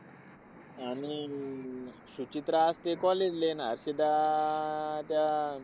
आणि अं सुचित्रा असते college ला आणि हर्षदा अह त्या